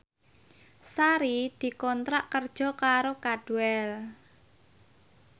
Sari dikontrak kerja karo Cadwell